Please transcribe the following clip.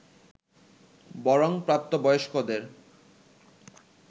বরং প্রাপ্ত বয়স্কদের